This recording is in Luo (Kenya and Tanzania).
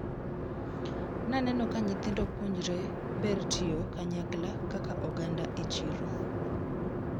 Naneno ka nyithindo puonjre ber tiyo kanyakla kaka oganda e chiro.